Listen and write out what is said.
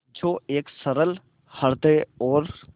जो एक सरल हृदय और